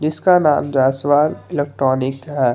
इसका नाम जैसवाल इलेक्ट्रॉनिक है।